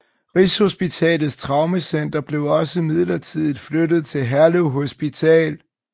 Rigshospitalets Traumecenter blev også midlertidigt flyttet til Herlev Hospital